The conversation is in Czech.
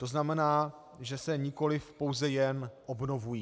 To znamená, že se nikoli pouze jen obnovují.